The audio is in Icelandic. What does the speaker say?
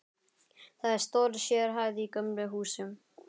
Það er stór sérhæð í gömlu húsi.